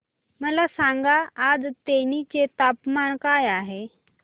मला सांगा आज तेनी चे तापमान काय आहे